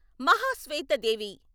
Mahasweta Devi